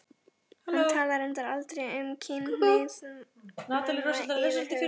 Hann talar reyndar aldrei um kynhneigð manna yfirhöfuð.